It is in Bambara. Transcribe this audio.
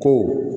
To